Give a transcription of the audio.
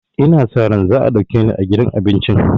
Ina sa ran za a ɗauke ni aiki a gidan abincin